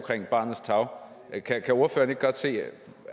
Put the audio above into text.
barnets tarv kan ordføreren ikke godt se